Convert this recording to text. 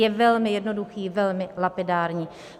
Je velmi jednoduchý, velmi lapidární.